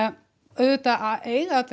auðvitað eiga allir